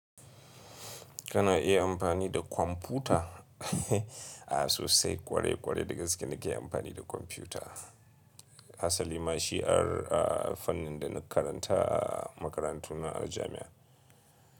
Kana iya amfani da kwamfuta? A'a sosai kware-kware dagaske nake amfani da kwamfuta. Asali ma shi'ar, a fannin da na karanta a makarantuna a jami'a.